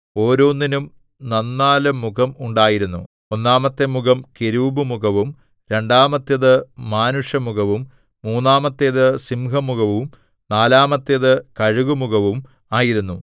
ഓരോന്നിനും നന്നാലു മുഖം ഉണ്ടായിരുന്നു ഒന്നാമത്തെ മുഖം കെരൂബ് മുഖവും രണ്ടാമത്തേത് മാനുഷമുഖവും മൂന്നാമത്തേത് സിംഹമുഖവും നാലാമത്തേത് കഴുകുമുഖവും ആയിരുന്നു